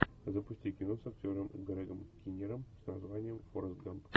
запусти кино с актером грегом кинниром с названием форрест гамп